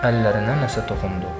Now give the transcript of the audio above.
Əllərinə nəsə toxundu.